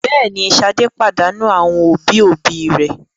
Bẹ́ẹ̀ ni, Ṣadé pàdánù àwọn òbí-òbí rẹ̀.